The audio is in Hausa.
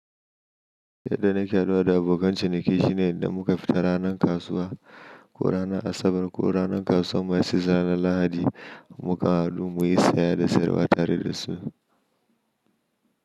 Yadda na ke haduwa da abokan ciniki shine idan muka fita ranar kasuwa ko ranar Asabar ko ranar kasuwar masu zira na Lahadi, muka hadu muyi saya da sayarwa tare da su.